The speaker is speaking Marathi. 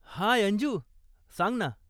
हाय अंजु, सांग ना.